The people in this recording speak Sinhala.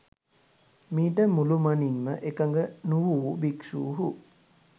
මීට මුළුමනින්ම එකග නුවූ භික්‍ෂූහු